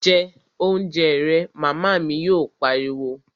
Jẹ oúnjẹ rẹ', Màmá mi yóò pariwo